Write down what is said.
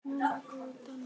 Ég vil muna góðu dagana.